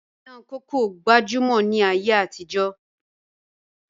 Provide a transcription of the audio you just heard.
Ìyàn kókó gbajúmọ̀ ni ayé àtijọ́